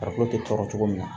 Farikolo te tɔɔrɔ cogo min na